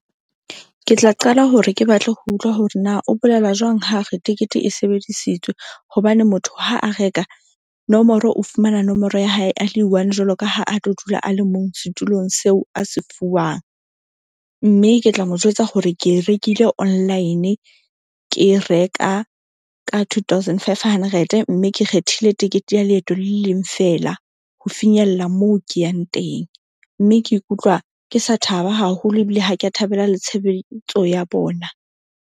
Ke tla qala hore ke batle ho utlwa hore na o bolela jwang. Ha re tikete e sebedisitswe hobane motho ha a reka nomoro, o fumana nomoro ya hae a le one jwalo ka ha a tlo dula a le mong setulong seo a se fuwang. Mme ke tla mo jwetsa hore ke e rekile online. Ke reka ka two thousand five hundred, mme ke kgethile tekete ya leeto le le leng fela, ho finyella moo ke yang teng mme ke ikutlwa ke sa thaba haholo ebile ha ke a thabela le tshelebetso ya bona.